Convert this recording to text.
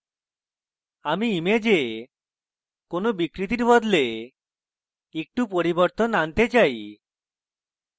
আমি image কোনো বিকৃতির বদলে একটু পরিবর্তন আনতে চাই